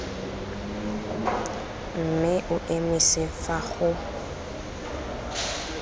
mme o emise fa go